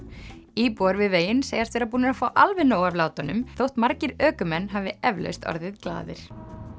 íbúar við veginn segjast vera búnir að fá alveg nóg af látunum þótt margir ökumenn hafi eflaust orðið glaðir